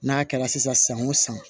N'a kɛra sisan san o san